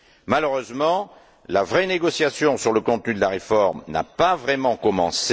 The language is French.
Malheureusement, la vraie négociation sur le contenu de la réforme n'a pas vraiment commencé.